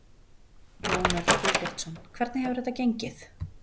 Jón Örn Guðbjartsson: Hvernig hefur þetta gengið?